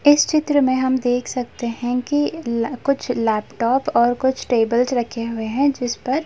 इस चित्र में हम देख सकते हैं कि ल कुछ लेपटॉप और कुछ टेबल्स रखे हुए हैं जिस पर --